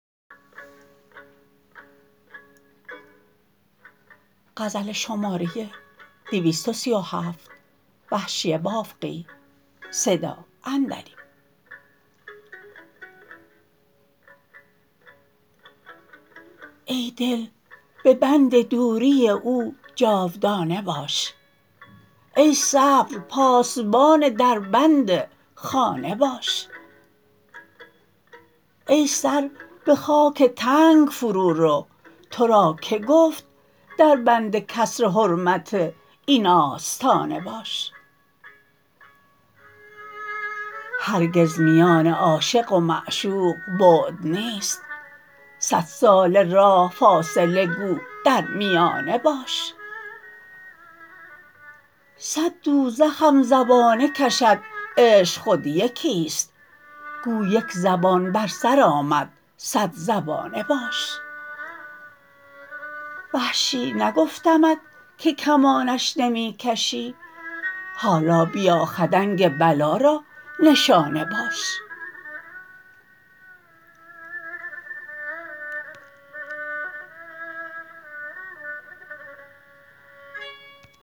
ای دل به بند دوری او جاودانه باش ای صبر پاسبان در بند خانه باش ای سر به خاک تنگ فرو رو ترا که گفت در بند کسر حرمت این آستانه باش هرگز میان عاشق و معشوق بعد نیست سد ساله راه فاصله گو در میانه باش صد دوزخم زبانه کشد عشق خود یکیست گو یک زبانه بر سر آن صد زبانه باش وحشی نگفتمت که کمانش نمی کشی حالا بیا خدنگ بلا را نشانه باش